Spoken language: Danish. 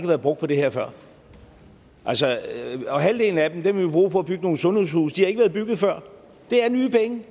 været brugt på det her før og halvdelen af dem vil vi bruge på at bygge nogle sundhedshuse de har ikke været bygget før det er nye penge